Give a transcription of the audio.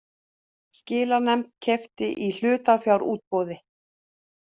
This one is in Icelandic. Skilanefnd keypti í hlutafjárútboði